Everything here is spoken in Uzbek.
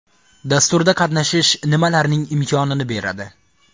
Dasturda qatnashish nima larning imkon ini beradi?